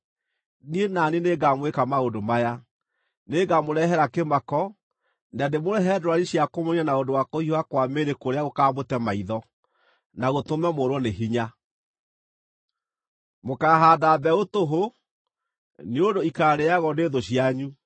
Niĩ na niĩ nĩngamwĩka maũndũ maya: Nĩngamũrehere kĩmako, na ndĩmũrehere ndwari cia kũmũniina na ũndũ wa kũhiũha kwa mĩĩrĩ kũrĩa gũkaamũte maitho, na gũtũme mũũrwo nĩ hinya. Mũkaahaanda mbeũ tũhũ, nĩ ũndũ ikaarĩagwo nĩ thũ cianyu.